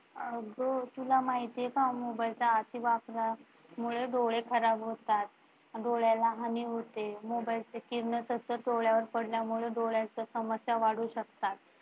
अग तुला माहित आहे का? मोबाइलच्या अति वापरामुळे डोळे खराब होतात, डोळ्याला हानी होते. मोबाइलची किरणे सतत डोळयांवर पडल्यामुळे डोळयाच्या समस्या वाढू शकतात.